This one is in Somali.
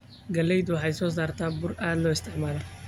Galleydu waxay soo saartaa bur aad loo isticmaalo.